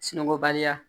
Sunɔgɔba